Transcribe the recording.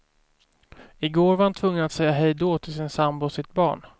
I går var han tvungen att säga hej då till sin sambo och sitt barn.